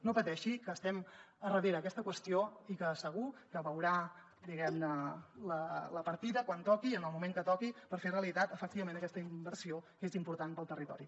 no pateixi que estem darrere d’aquesta qüestió i segur que veurà diguem ne la partida quan toqui i en el moment que toqui per fer realitat efectivament aquesta inversió que és important per al territori